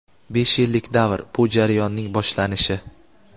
Besh yillik davr – bu jarayonning boshlanishi.